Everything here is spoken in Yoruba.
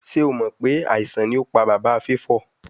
Ṣe o mọ pe aisan ni o pa baba Favour?